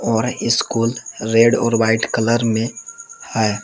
और ये school red और व्हाइट कलर में है।